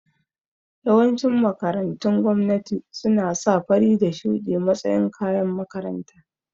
Yawancin makarantun gwamnati suna sa fari da shuɗi matsayin kayan makaranta